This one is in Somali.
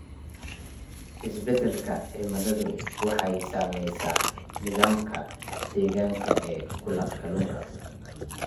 Isbeddelka cimiladu waxay saamaysaa nidaamka deegaanka ee kalluunka.